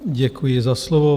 Děkuji za slovo.